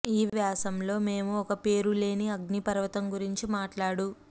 ఈ వ్యాసం లో మేము ఒక పేరులేని అగ్నిపర్వతం గురించి మాట్లాడు